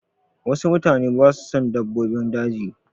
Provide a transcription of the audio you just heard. Wasu mutane ba su son dabbobin daji.